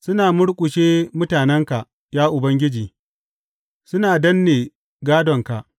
Suna murƙushe mutanenka, ya Ubangiji; suna danne gādonka.